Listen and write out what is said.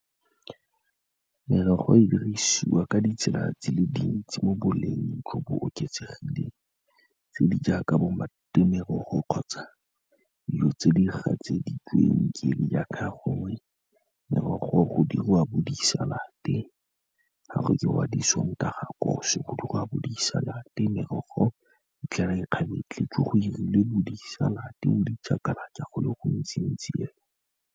Merogo e dirisiwa ka ditsela tse di le dintsi mo boleng jo bo oketsegileng, tse di jaaka bo merogo kgotsa dijo tse di gatseditsweng ke le jaaka gongwe, merogo go dirwa bo disalate ga go jewa bo di Sondag kos, go diriwa bo disalate, merogo itlhela e kgabetlheletswe go 'irilwe bo disalate, bo di chakalaka go le gontsi-ntsi fela.